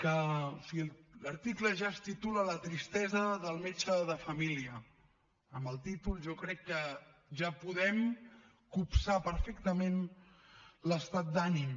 o sigui l’article ja es titula la tristesa del metge de família amb el títol jo crec que ja en podem copsar perfectament l’estat d’ànim